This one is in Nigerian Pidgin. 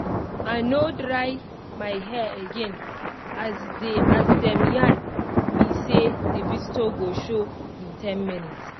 i no dry my hair again as dey as dem yarn me say the visitor go show in ten minutes